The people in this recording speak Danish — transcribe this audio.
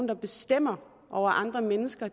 der bestemmer over andre mennesker